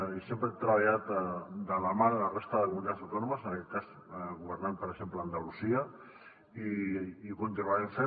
i sempre hem treballat de la mà de la resta de comunitats autònomes en aquest cas governant per exemple a andalusia i ho continuarem fent